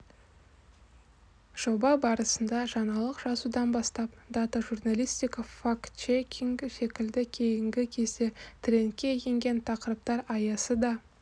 жоба барысында жаңалық жазудан бастап дата журналистика фактчекинг секілді кейінгі кезде трендке енген тақырыптар аясы да